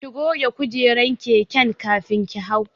Ki goge kujerar keken kafin ki hau.